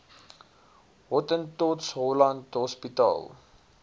hottentots holland hospitaal